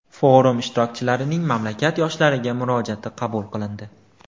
Forum ishtirokchilarining mamlakat yoshlariga murojaati qabul qilindi.